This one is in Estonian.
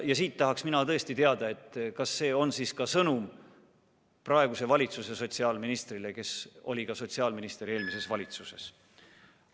Ja seepärast tahan mina tõesti teada, kas see on siis ka sõnum praeguse valitsuse sotsiaalministrile, kes oli sotsiaalminister eelmiseski valitsuses.